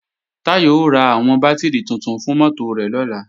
Táyọ̀ ó ra àwọn bátìrì tuntun fún mọ́tò rẹ̀ lọ́la